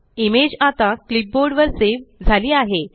image आता clipboard वर save झाली आहे